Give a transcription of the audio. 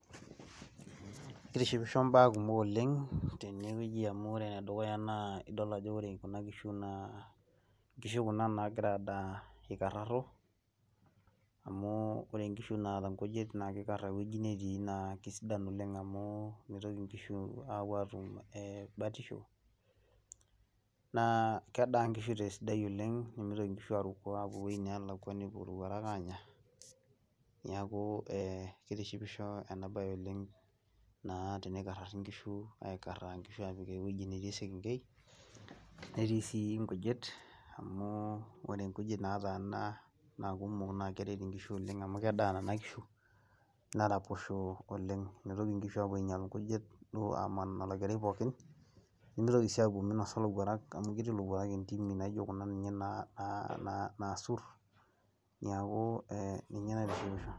Kitishipisho imbaa kumok oleng' tenewoji amu wore enedukuya naa, idol ajo wore kuna kishu naa, inkishu kuna naakira aadaa ikarraro, amu wore inkishu naata inkujit naa kikara ewoji netii naa kesidai oleng' amu, mitoki inkishu aapuo aatum batisho. Naa kedaa inkishu tesidai oleng', nimitoki inkishu aaruko apuo ewoji neelakwa nepuo ilowuarak aanya, neeku kitishipisho ena baye oleng' naa tenikarari inkishu aikaraa inkishu aapik ewoji netii esekenkei, netii sii inkujit, amu wore inkujit naataana naa kumok naa keret inkishu oleng' amu kedaa niana kishu, neraposho oleng'. Mitoki inkishu aapuo ainyial inkujit, duo aaman olokeri pookin, nimitoki sii apuo minosa ilowuarak amu ketii ilowuarak intimi naijo kuna ninye naasur, neeku ninye naitishipisho.